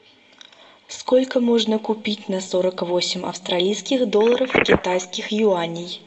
сколько можно купить на сорок восемь австралийских долларов китайских юаней